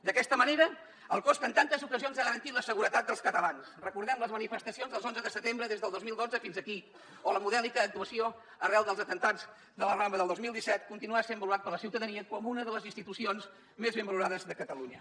d’aquesta manera el cos que en tantes ocasions ha garantit la seguretat dels catalans recordem les manifestacions dels onzes de setembre des del dos mil dotze fins aquí o la modèlica actuació arran dels atemptats de la rambla del dos mil disset continuarà sent valorat per la ciutadania com una de les institucions més ben valorades de catalunya